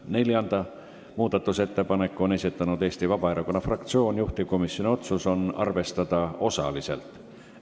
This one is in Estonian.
Neljanda muudatusettepaneku on esitanud Eesti Vabaerakonna fraktsioon, juhtivkomisjoni otsus on arvestada osaliselt.